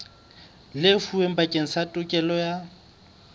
lefuweng bakeng sa tokelo ya